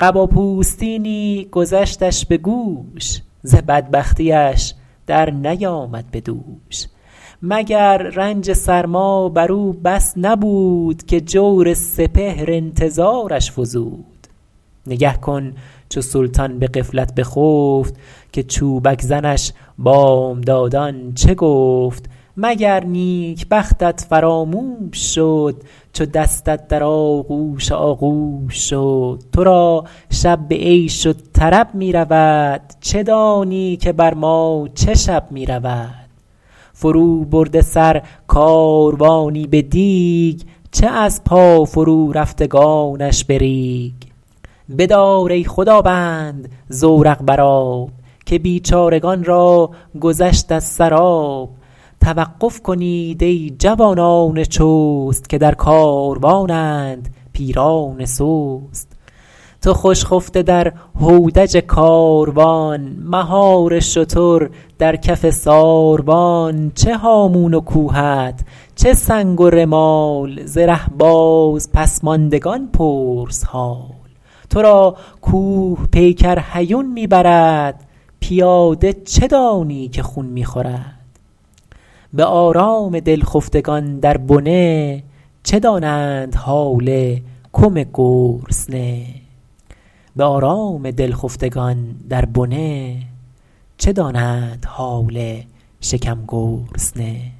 قبا پوستینی گذشتش به گوش ز بدبختیش در نیامد به دوش مگر رنج سرما بر او بس نبود که جور سپهر انتظارش فزود نگه کن چو سلطان به غفلت بخفت که چوبک زنش بامدادان چه گفت مگر نیکبختت فراموش شد چو دستت در آغوش آغوش شد تو را شب به عیش و طرب می رود چه دانی که بر ما چه شب می رود فرو برده سر کاروانی به دیگ چه از پا فرو رفتگانش به ریگ بدار ای خداوند زورق بر آب که بیچارگان را گذشت از سر آب توقف کنید ای جوانان چست که در کاروانند پیران سست تو خوش خفته در هودج کاروان مهار شتر در کف ساروان چه هامون و کوهت چه سنگ و رمال ز ره باز پس ماندگان پرس حال تو را کوه پیکر هیون می برد پیاده چه دانی که خون می خورد به آرام دل خفتگان در بنه چه دانند حال کم گرسنه